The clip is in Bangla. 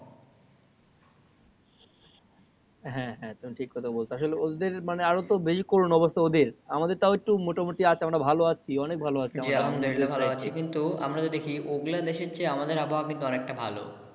হ্যা হ্যা তুমি ঠিক কথা বলেছো আসলে ওদের তো আরো বেশি করুন অবস্থা ওদের আমাদের তাও একটু মোটা মুটি আছে আমরা ভালো আছি অনেক ভালো আছি অনেক ভালো আছি জি আলহামদুলিল্লাহ ভালো আছি কিন্তু আমরা যে দেখি ওগুলা দেশের চেয়ে আমাদের আবহওয়া কিন্তু অনেকটা ভালো।